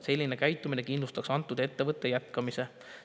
Selline käitumine kindlustaks antud ettevõtte jätkamise.